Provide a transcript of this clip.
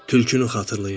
Tülkünü xatırlayırdım.